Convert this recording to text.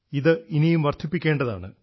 ഇത് ഇനിയും വർദ്ധിപ്പിക്കേണ്ടതാണ്